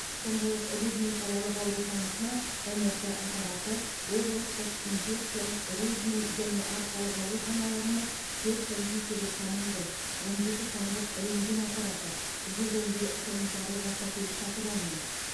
сондай ақ рудный қалалық ауруханасына мрт аппараты облыстық инфекциялық рудный және арқалық ауруханаларына төрт компьютерлік томограф он жеті сандық рентген аппараты жүз он бір санитарлық автокөлік сатып алынды